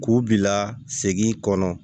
K'u bila segin kɔnɔ